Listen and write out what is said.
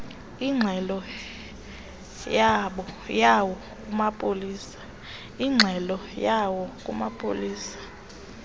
ingxelo yawo kumapolisa